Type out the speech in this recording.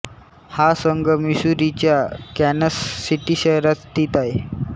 हा संघ मिसूरीच्या कॅन्सस सिटी शहरात स्थित आहे